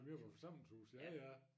Møborg forsamlingshus jaja